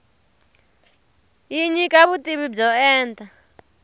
yi nyika vutivi byo enta